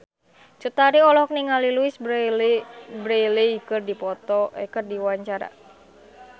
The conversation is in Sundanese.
Cut Tari olohok ningali Louise Brealey keur diwawancara